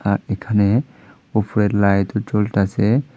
আর এখানে উপরের লাইট জ্বলতাছে।